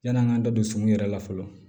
Yann'an k'an da don sun yɛrɛ la fɔlɔ